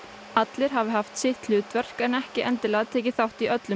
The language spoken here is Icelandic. allir hafi haft sitt hlutverk en ekki endilega tekið þátt í öllum